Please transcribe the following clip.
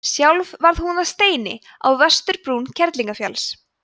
sjálf varð hún að steini á vesturbrún kerlingarfjalls